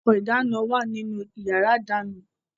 Àwọn nǹkan ìdáná ń wà nínú yàrá ìdáná.